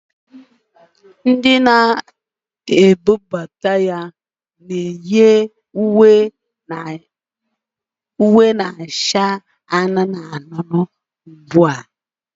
Ndị na-ebubata ya na-eyi uwe na-acha anụnụ anụnụ ugbu a